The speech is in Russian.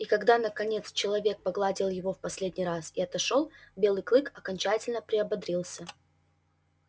и когда наконец человек погладил его в последний раз и отошёл белый клык окончательно приободрился